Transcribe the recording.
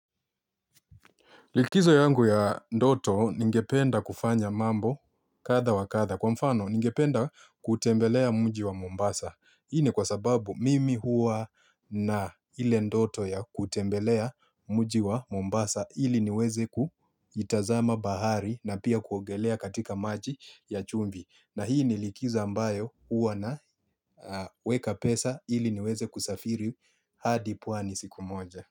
Likizo yangu ya ndoto ningependa kufanya mambo kadha wa kadha. Kwa mfano ningependa kutembelea mji wa Mombasa. Hii ni kwa sababu mimi huwa na ile ndoto ya kutembelea mji wa Mombasa ili niweze kuitazama bahari na pia kuongelea katika maji ya chumvi. Na hii ni likizo ambayo huwa naweka pesa ili niweze kusafiri hadi pwani siku moja.